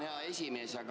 Tänan, hea esimees!